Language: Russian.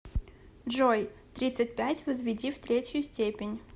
джой тридцать пять возведи в третью степень